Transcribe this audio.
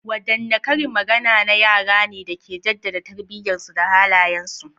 Wadanne karin magana na yara ne da ke jaddada tarbiyyarsu da halayensu?